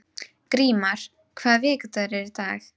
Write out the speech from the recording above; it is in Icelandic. Grímar, hvaða vikudagur er í dag?